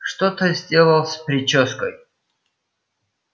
что ты сделал с причёской